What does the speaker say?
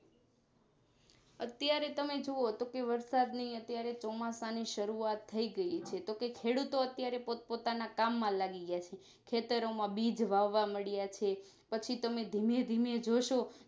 અત્યારે તમે જોવો તો વરસાદ ની અત્યારે ચોમાસું ની શરૂઆત થઈ ગઈ હશે તો કે ખેડૂતો અત્યારે પોત પોતાના કામમાં લાગી ગયા છે ખેતરો માં બીજ વાવવા મંડિયા છે પછી તમે ધીમે ધીમે જોશો